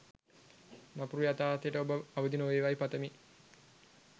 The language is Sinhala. නපුරු යතාර්ථයට ඔබ අවදි නොවේවායි පතමි.